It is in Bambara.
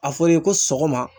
A fɔra i ye ko sɔgɔma.